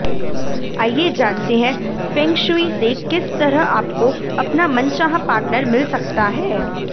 आइए जानते हैं फेंगशुई से किस तरह आपको अपना मनचाहा पार्टनर मिल सकता है